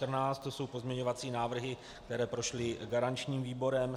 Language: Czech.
To jsou pozměňovací návrhy, které prošly garančním výborem.